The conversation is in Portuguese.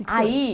Aí